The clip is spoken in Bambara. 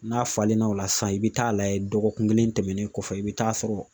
N'a falenna o la sisan i bi taa layɛ dɔgɔkun kelen tɛmɛnen kɔfɛ i bi taa sɔrɔ